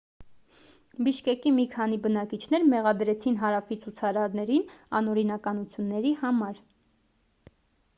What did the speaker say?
բիշկեկի մի քանի բնակիչներ մեղադրեցին հարավի ցուցարարներին անօրինականությունների համար